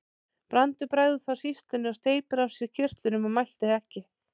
Brandur bregður þá sýslunni og steypir af sér kyrtlinum og mælti ekki.